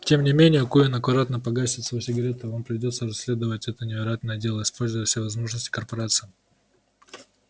тем не менее куинн аккуратно погасил свою сигарету вам придётся расследовать это невероятное дело используя все возможности корпорации